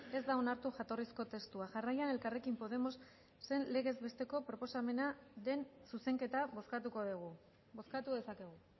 ez da onartu jatorrizko testua jarraian elkarrekin podemosen legez besteko proposamenaren zuzenketa bozkatuko dugu bozkatu dezakegu